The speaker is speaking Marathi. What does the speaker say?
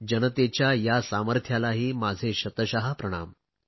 जनतेच्या या सामर्थ्यालाही माझे शतश प्रणाम